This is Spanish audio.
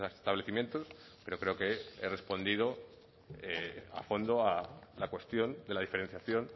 establecimientos pero creo que he respondido a fondo a la cuestión de la diferenciación